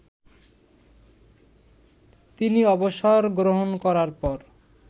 তিনি অবসরগ্রহণ করার পর